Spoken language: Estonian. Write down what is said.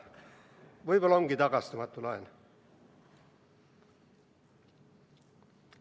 Võib-olla ongi see tagastamatu laen.